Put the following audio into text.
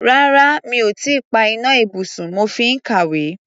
Rárá, mi ò tí ì pa iná ibùsùn, mo fi ń kàwé.